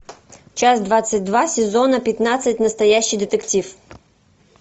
часть двадцать два сезона пятнадцать настоящий детектив